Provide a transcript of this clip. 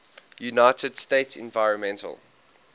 united states environmental